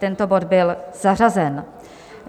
Tento bod byl zařazen.